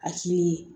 A cili